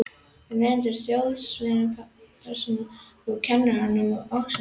Og nemendur gera þjóðsagnapersónur úr kennurum að ástæðulausu.